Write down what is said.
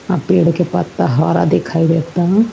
और पेड़ का पत्ता हरा दिखाई देता।